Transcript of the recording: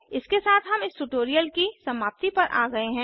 इसके साथ हम इस ट्यूटोरियल की समाप्ति पर आ गया हैं